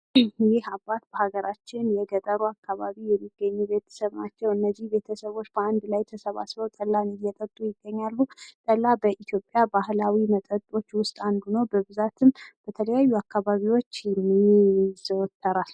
ይህ አባት እንግዲህ በሀገራችን በገጠሩ ክፍል የሚገኙ ቤተሰብ ናቸው። እነዚህ ቤተሰቦች በአንድ ላይ ተሰባስበው ጠላን እየጠጡ ይገኛሉ። ጠላ በኢትዮጵያ ባህላዊ መጠጦች ውስጥ አንዱ ነው በብዛትም በተለያዩ አካባቢዎች ይዘወተራል።